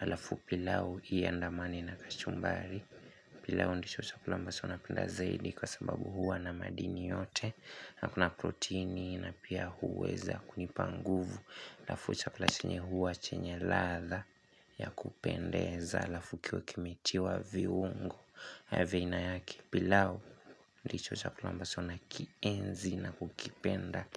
Halafu pilau iandamane na kachumbari. Pilau ndicho chakula ambacho napenda zaidi kwa sababu huwa na madini yote. Na kuna proteini na pia huweza kunipa nguvu. Halafu chakula chenye huwa chenye ladha ya kupendeza. Halafu kiwe kimetiwa viuongu. Havina ya kipilau. Ndicho chakula ambacho nakienzi na kukipenda.